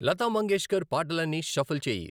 లతా మంగేష్కర్ పాటలన్నీ షఫుల్ చేయి